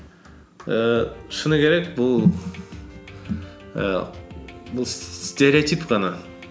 ііі шыны керек бұл ііі бұл стереотип қана